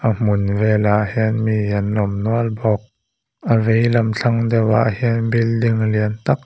a hmun vel ah hian mi an awm nual bawk a veilam thlang deuh ah hian building lian tak a--